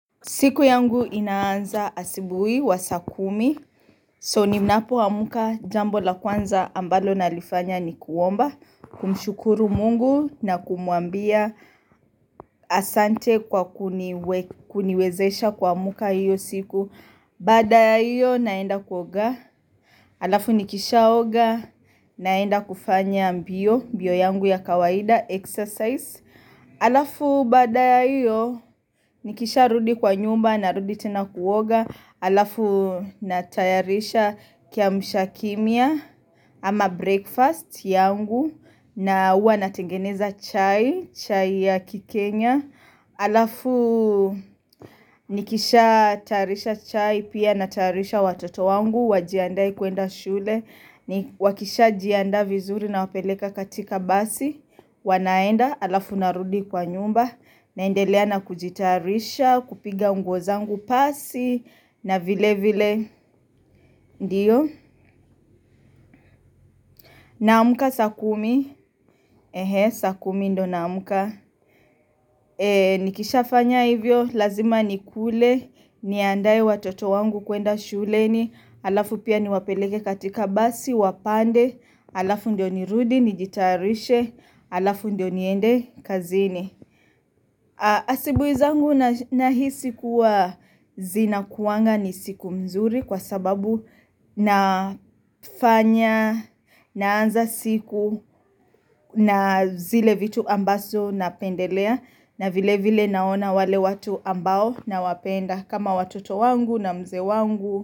Siku yangu inaanza asibuhi wa saa kumi. So, ninapoamka, jambo la kwanza ambalo nalifanya ni kuomba. Kumshukuru Mungu na kumuambia asante kwa kuniwezesha kuamka hiyo siku. Baada ya hiyo naenda kuoga. Halafu nikishaoga naenda kufanya mbio, mbio yangu ya kawaida, exercise. Halafu baada ya hiyo nikisharudi kwa nyumba narudi tena kuoga halafu natayarisha kiamsha kinywa ama breakfast yangu na huwa natengeneza chai, chai ya kikenya halafu nikishatayarisha chai pia natayarisha watoto wangu wajiandae kwenda shule wakishajiandaa vizuri nawapeleka katika basi wanaenda halafu narudi kwa nyumba. Naendelea na kujitayarisha kupiga nguo zangu pasi. Na vile vile. Ndiyo naamka saa kumi, saa kumi ndiyo naamka. Nikishafanya hivyo lazima nikule Niandae watoto wangu kuenda shuleni. Halafu pia ni niwapeleke katika basi wapande. Halafu ndiyo nirudi nijitayarishe. Halafu ndio niende kazini. Asibuhi zangu nahisi kuwa zinakuanga ni siku nzuri kwa sababu nafanya naanza siku na zile vitu ambazo napendelea na vile vile naona wale watu ambao nawapenda kama watoto wangu na mzee wangu.